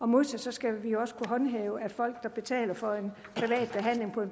modsat skal vi også kunne håndhæve at folk der betaler for en